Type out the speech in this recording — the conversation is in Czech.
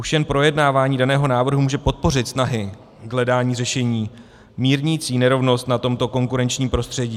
Už jen projednávání daného návrhu může podpořit snahy k hledání řešení mírnící nerovnost na tomto konkurenčním prostředí.